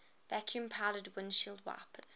vacuum powered windshield wipers